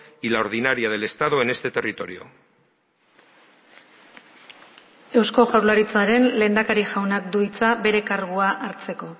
y la ordinaria del estado en este territorio eusko jaurlaritzaren lehendakari jaunak du hitza bere kargua hartzeko